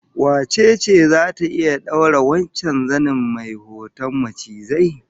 Wace ce zata iya daura wannan sabon zanin mai hoton macizai?